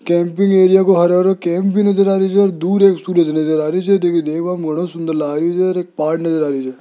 Camping area को हरा हरा कैंप भी नजर आ रही हैं दूर एक सूरज नजर आ रही हैं नजर आ रही ।